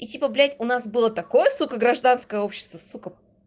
типа блядь у нас было такое сука гражданское общество сука